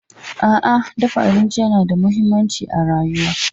A'a, dafa abinci yana da mahimmanci ga rayuwa.